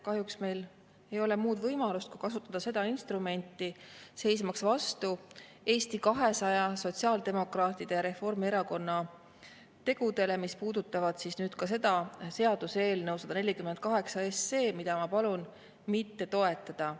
Kahjuks meil ei ole muud võimalust, kui kasutada seda instrumenti, seismaks vastu Eesti 200, sotsiaaldemokraatide ja Reformierakonna tegudele, mis puudutavad seda seaduseelnõu 148, mida ma palun mitte toetada.